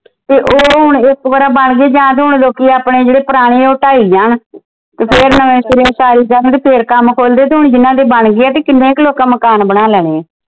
ਤੇ ਉਹ ਹੁਣ ਇਕ ਵਰਾ ਬਣ ਗਏ ਆ ਜਾਂ ਤਾ ਹੁਣ ਲੋਕੀ ਆਪਣੇ ਜਿਹੜੇ ਪੁਰਾਣੇ ਉਹ ਢਾਈ ਜਾਣ ਤੇ ਫਿਰ ਨਵੇਂ ਸਿਰਿਓਂ ਉਸਾਰੀ ਜਾਣ ਤੇ ਫਿਰ ਕੰਮ ਖੁਲਦੇ ਤੇ ਹੁਣ ਜਿਨ੍ਹਾਂ ਦੇ ਬਣ ਗਏ ਤੇ ਕਿਨ੍ਹੇ ਕ ਲੋਕਾ ਮਕਾਨ ਬਣਾ ਲੈਣੇ ਆ।